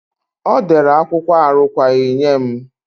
Ọ dere akwụkwọ arụkwaghị nye m.